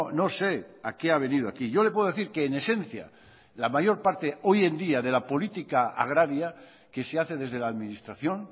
no sé a qué ha venido aquí yo le puedo decir que en esencia la mayor parte hoy en día de la política agraria que se hace desde la administración